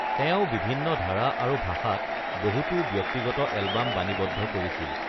তেওঁ বিভিন্ন ধাৰা আৰু ভাষাত বহুতো ব্যক্তিগত এলবাম ৰেকৰ্ডিং কৰিছিল।